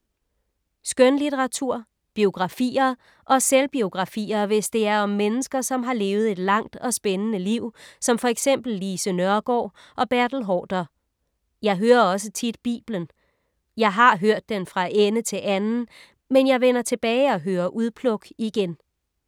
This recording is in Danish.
Skønlitteratur. Biografier. Og selvbiografier, hvis det er om mennesker som har levet et langt og spændende liv som for eksempel Lise Nørgaard og Bertel Haarder. Jeg hører også tit Bibelen. Jeg har hørt den fra ende til anden, men jeg vender tilbage og hører udpluk igen.